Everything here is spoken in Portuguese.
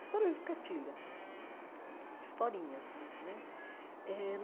Histórias de cartilha, hum hum hum historinhas né eh.